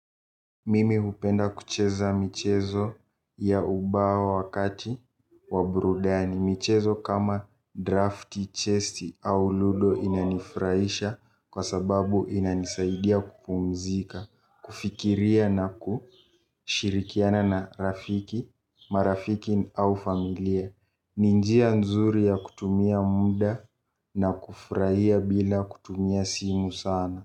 Mimi hupenda kucheza michezo ya ubawa wakati wa burudani. Michezo kama draft, chest au ludo inanifurahisha kwa sababu inanisaidia kupumzika, kufikiria na kushirikiana na rafiki, marafiki au familia. Ni njia nzuri ya kutumia muda na kufurahia bila kutumia simu sana.